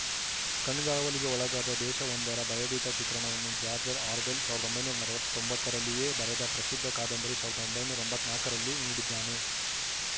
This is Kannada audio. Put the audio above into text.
ಕಣ್ಗಾವಲಿಗೆ ಒಳಗಾದ ದೇಶವೊಂದರ ಭಯಭೀತ ಚಿತ್ರಣವನ್ನು ಜಾಜ್‌ರ್‍ ಆರ್ವೆಲ್‌ ಸಾವಿರದ ಒಂಬೈನೂರ ನಲವತ್ತೊಂಬತ್ತು ರಲ್ಲಿಯೇ ಬರೆದ ಪ್ರಸಿದ್ಧ ಕಾದಂಬರಿ ಸಾವಿರದ ಒಂಬೈನೂರ ಎಂಬತ್ತ್ ನಾಕ ರಲ್ಲಿ ನೀಡಿದ್ದಾನೆ